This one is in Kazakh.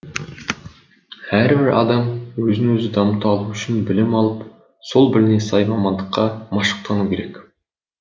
әрбір адам өзін өзі дамыта алу үшін білім алып сол біліміне сай мамандыққа машықтану керек